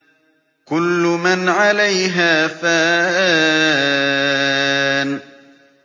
كُلُّ مَنْ عَلَيْهَا فَانٍ